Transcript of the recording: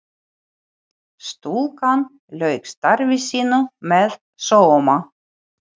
Stúlkan lauk starfi sínu með sóma.